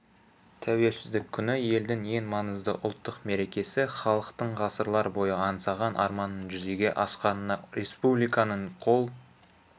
тәуелсіздік күні елдің ең маңызды ұлттық мерекесі халықтың ғасырлар бойы аңсаған арманының жүзеге асқанына республиканың қол